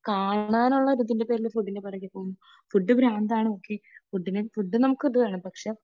കാണാനുള്ള ഒരു ഇതിൻറെ പേരിൽ ഫുഡിനെ പുറകെ പോകും, ഫുഡ് ഭ്രാന്താണ് ഓക്കെ.ഫുഡിനെ, ഫുഡ് നമുക്ക് ഇത് വേണം പക്ഷേ